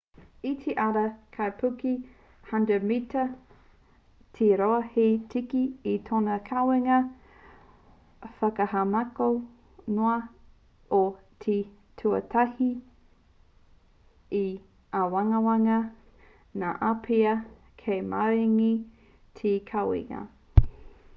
i te ara te kaipuke 100-mita te roa hei tiki i tōna kawenga whakahaumako noa ā i te tuatahi i āwangawanga ngā āpiha kei maringi te kawenga